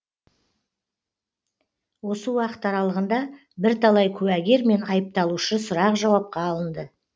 осы уақыт аралығында бірталай куәгер мен айыпталушы сұрақ жауапқа алынды